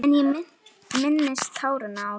En ég minnist táranna líka.